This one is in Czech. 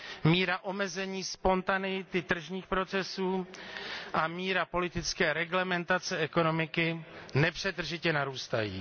Míra omezení spontaneity tržních procesů a míra politické reglementace ekonomiky nepřetržitě narůstají.